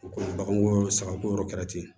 U ko baganko saga ko yɔrɔ kɛra ten